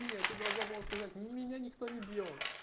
не ты должна была сказать не меня никто не бьёт